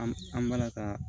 An an b'ala ka